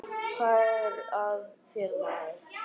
Hvað er að þér maður?